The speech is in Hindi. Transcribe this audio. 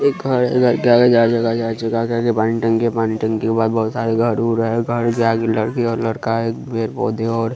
एक घर है घर के आगे चार-चक्का चार-चक्का पानी टंकी है पानी टंकी के बाद बहुत सारे घर-उर है घर के आगे लड़की और लड़का है पेड़-पौधे और --